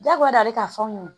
Jagoya de ka fɔ aw ɲɛna